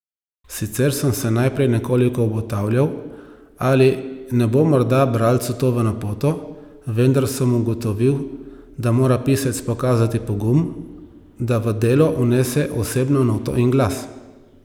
Sicer sem se najprej nekoliko obotavljal, ali ne bo morda bralcu to v napoto, vendar sem ugotovil, da mora pisec pokazati pogum, da v delo vnese osebno noto in glas.